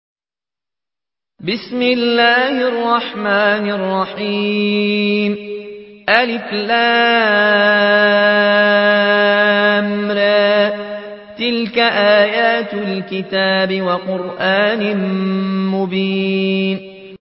الر ۚ تِلْكَ آيَاتُ الْكِتَابِ وَقُرْآنٍ مُّبِينٍ